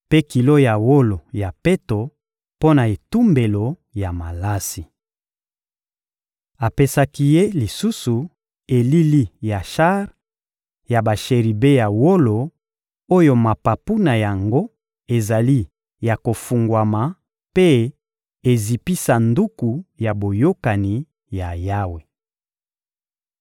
mpe kilo ya wolo ya peto mpo na etumbelo ya malasi. Apesaki ye lisusu elili ya shar ya basheribe ya wolo oyo mapapu na yango ezali ya kofungwama mpe ezipi Sanduku ya Boyokani ya Yawe.